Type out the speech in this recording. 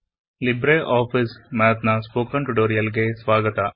Libre ಆಫಿಸ್ನ spoken tutorials ಗೆ ಸ್ವಾಗತ